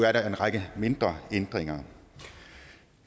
er der en række mindre ændringer